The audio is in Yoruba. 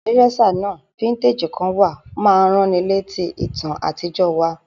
Dresser náà, vintage kan wa, ma n raniletí ìtàn àtijọ́ wa